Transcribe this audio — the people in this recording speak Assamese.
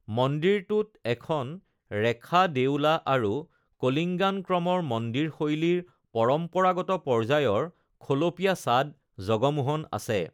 মন্দিৰটোত এখন ৰেখা দেউলা আৰু কলিঙ্গান ক্ৰমৰ মন্দিৰ শৈলীৰ পৰম্পৰাগত পৰ্য্যায়ৰ খলপীয়া ছাদ জগমোহন আছে।